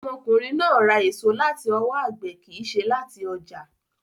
Ọmọkùnrin náà ra èso láti ọwọ́ agbẹ̀ kìí ṣe láti ọjà.